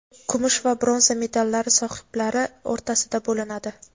kumush va bronza medallari sohiblari o‘rtasida bo‘linadi.